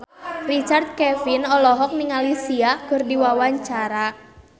Richard Kevin olohok ningali Sia keur diwawancara